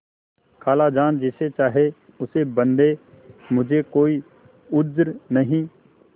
खालाजान जिसे चाहें उसे बदें मुझे कोई उज्र नहीं